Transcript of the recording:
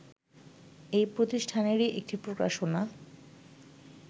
এ প্রতিষ্ঠানেরই একটি প্রকাশনা